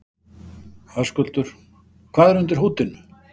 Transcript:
Höskuldur: Hvað er undir húddinu?